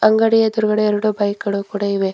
ಅಂಗಡಿ ಎದ್ರುಗಡೆ ಎರಡು ಬೈಕ್ ಗಳು ಕೂಡ ಇವೆ.